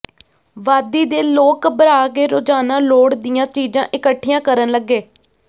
ਵਾਦੀ ਦੇ ਲੋਕ ਘਬਰਾ ਕੇ ਰੋਜ਼ਾਨਾ ਲੋੜ ਦੀਆਂ ਚੀਜ਼ਾਂ ਇਕੱਠੀਆਂ ਕਰਨ ਲੱਗੇ